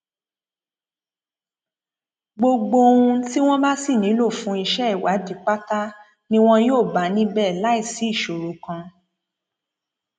gbogbo ohun tí wọn bá sì nílò fún iṣẹ ìwádìí pátá ni wọn yóò bá níbẹ láì sí ìṣòro kan